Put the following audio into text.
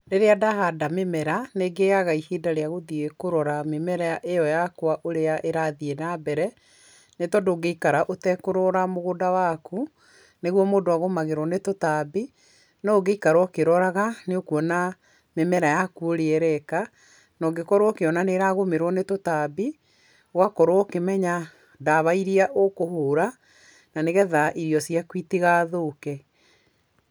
Rĩrĩa ndahanda mĩmera nĩ ngĩaga ihinda rĩa gũthiĩ kũrora ũrĩa mĩmera ĩo yakwa ũrĩa ĩrathiĩ na mbere nĩ tondũ ũngĩikara ĩtekũrora mũgũnda waku nĩguo mũndũ agũmagũrwo nĩtũtambi, no ũngĩikara ũkĩroraga nĩ ũkuona mĩmera yaku ũrĩa ĩreka, na ũngĩkorwo ũkĩona nĩ ĩragũmĩrwo nĩtũtambi, ũgakorwo ũkĩmenya ndawa iria ũkũhũra na nĩgetha irio ciaku itigathũke.